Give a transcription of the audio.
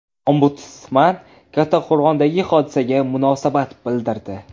Ombudsman Kattaqo‘rg‘ondagi hodisaga munosabat bildirdi.